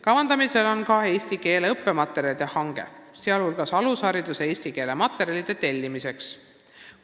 Kavandatakse ka eesti keele õppematerjalide hanget, sh materjalide tellimiseks alushariduse tarbeks.